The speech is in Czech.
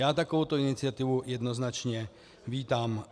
Já takovouto iniciativu jednoznačně vítám.